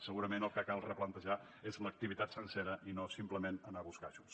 segurament el que cal replantejar és l’activitat sencera i no simplement anar a buscar ajuts